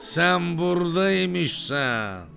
Sən buradaymışsan!